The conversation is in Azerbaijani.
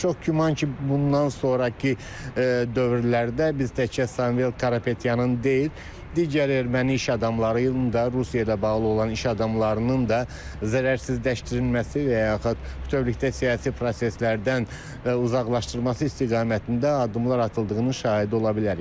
Çox güman ki, bundan sonrakı dövrlərdə biz təkcə Samvel Karapetyanın deyil, digər erməni iş adamlarının da, Rusiya ilə bağlı olan iş adamlarının da zərərsizləşdirilməsi və yaxud bütövlükdə siyasi proseslərdən uzaqlaşdırması istiqamətində addımlar atıldığının şahidi ola bilərik.